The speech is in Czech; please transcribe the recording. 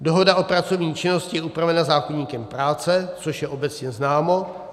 Dohoda o pracovní činnosti je upravena zákoníkem práce, což je obecně známo.